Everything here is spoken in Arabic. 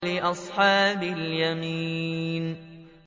لِّأَصْحَابِ الْيَمِينِ